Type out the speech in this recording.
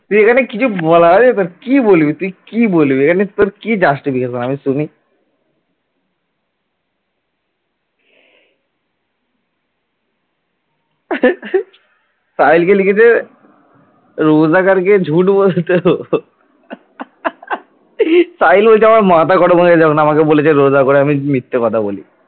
সাহিলকে লিখেছে रोजा करके झूठ बोलते हो সাহিল বলছে আমার মাথা গরম হয়ে গেছে যখন বলল আমি রোজা করে আমি মিথ্যা কথা বলি ।